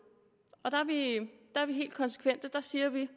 er vi helt konsekvente så siger vi